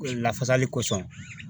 Lafasali kosɔn